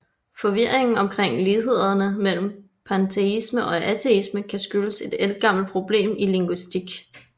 Forvirringen omkring lighederne mellem panteisme og ateisme kan skyldes et ældgammelt problem i linguistik